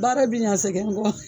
Baara bɛ ɲan sɛgɛn kɔ ?